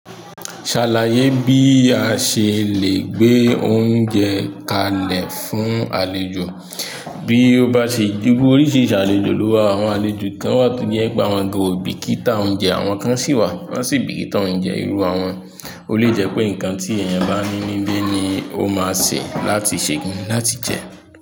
Ṣàlàyé bí a ṣe lẹ́ gbé oúnjẹ kalẹ̀ fún àlejò. Bí ó bá ṣe iru oríṣi àlejò ló wà, àwọn àlejò kan wà tó jẹ́ pé wọ́n gan ò bìkítà oúnjẹ, àwọn kan sì wà tó sì bìkítà oúnjẹ irú àwọn. Ó lè jẹ́ pé nǹkan tí èèyàn bá ní níbí ni ó máa sè láti ṣe láti jẹ.